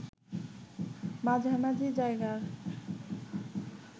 মাঝামাঝি জায়গায়